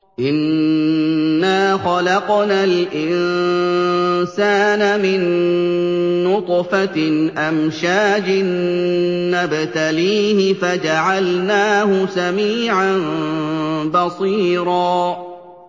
إِنَّا خَلَقْنَا الْإِنسَانَ مِن نُّطْفَةٍ أَمْشَاجٍ نَّبْتَلِيهِ فَجَعَلْنَاهُ سَمِيعًا بَصِيرًا